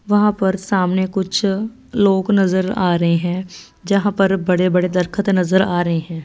वहां पर सामने कुछ लोग नजर आ रहे हैं जहां पर बड़े बड़े दरखत नजर आ रहे हैं।